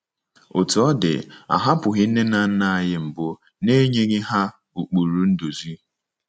Otú ọ dị, a hapụghị nne na nna anyị mbụ n’enyeghị ha ụkpụrụ nduzi.